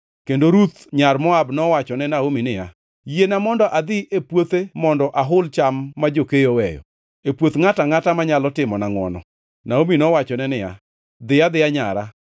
Kendo Ruth nyar Moab nowachone Naomi niya, “Yiena mondo adhi e puothe mondo ahul cham ma jokeyo oweyo, e puoth ngʼato angʼata manyalo timona ngʼwono.” Naomi nowachone niya, “Dhi adhiya, nyara.”